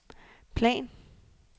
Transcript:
plan